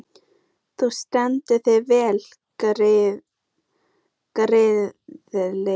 Þú stendur þig vel, Gyrðir!